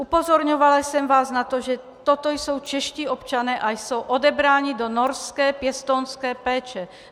Upozorňovala jsem vás na to, že toto jsou čeští občané a jsou odebráni do norské pěstounské péče.